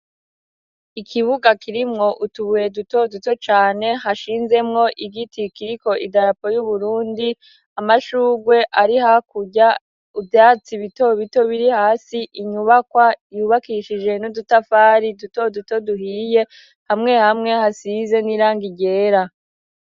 Ikibuga kirimwo utubuye duto duto cane, hashinzemwo igiti kiriko idarapo y'uburundi ,amashugwe ari hakurya ivyatsi bito bito biri hasi ,inyubakwa yubakishije n'udutafari duto duto duhiye ,hamwe hamwe hasize n'irangi ryera.